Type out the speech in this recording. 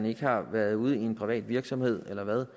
ikke har været ude i en privat virksomhed eller hvad